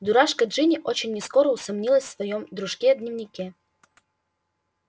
дурашка джинни очень нескоро усомнилась в своём дружке-дневнике